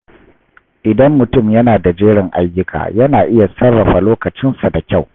Idan mutum yana da jerin ayyuka, yana iya sarrafa lokacinsa da kyau.